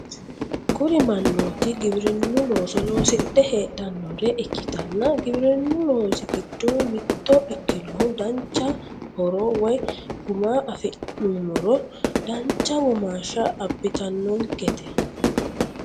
kuri manooti giwirinnu looso loosidhe heedhannore ikkitanna giwirinnu loosi giddo mitto ikkinohu dancha horo woy guma afi'nummoro dancha womaashsha abitannonkete.